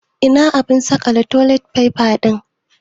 Ina abun saƙale toli faifa ɗin?